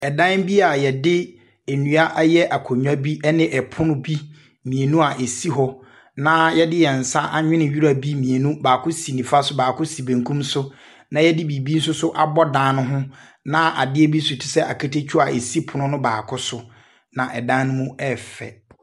Ɛdan bi a yɛdi enua ayɛ akonnwa bi ɛne ɛpono bi mienu esi hɔ. Na yɛdi wɔ yɛsnsa anwinii ewura bi mienu, baako si nifa so, baako s benkim so, na yɛdi bribi nsoso abɔ ban no ho na adeɛibi tisɛɛ aketekyua esi pono no baako so na ɛdan mo mu ɛɛyɛ fɛ.